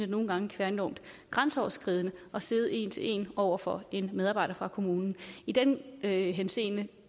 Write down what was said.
nogle gange være enormt grænseoverskridende at sidde en til en over for en medarbejder fra kommunen i den henseende